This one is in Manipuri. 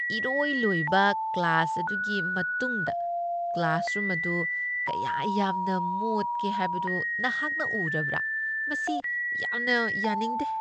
ꯏꯔꯣꯏ ꯂꯣꯏꯕ ꯀ꯭ꯂꯥꯁ ꯑꯗꯨꯒꯤ ꯃꯇꯨꯡꯗ ꯀ꯭ꯂꯥꯁꯔꯨꯝ ꯑꯗꯨ ꯀꯌꯥ ꯌꯥꯝꯅ ꯃꯣꯠꯀꯦ ꯍꯥꯏꯕꯗꯨ ꯅꯍꯥꯛꯅ ꯎꯔꯕ꯭ꯔꯥ? ꯃꯁꯤ ꯌꯥꯝꯅ ꯌꯥꯅꯤꯡꯗꯦ꯫